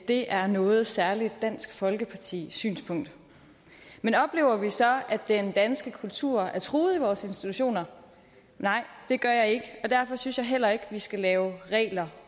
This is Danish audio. det er noget særligt dansk folkeparti synspunkt men oplever vi så at den danske kultur er truet i vores institutioner nej det gør jeg ikke og derfor synes jeg heller ikke vi skal lave regler